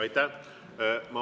Aitäh!